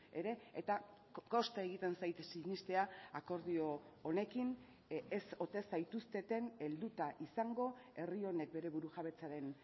ere eta kosta egiten zait sinestea akordio honekin ez ote zaituzteten helduta izango herri honek bere burujabetzaren